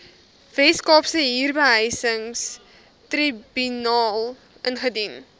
weskaapse huurbehuisingstribunaal indien